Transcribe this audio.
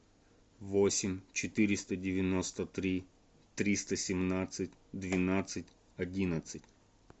восемь четыреста девяносто три триста семнадцать двенадцать одиннадцать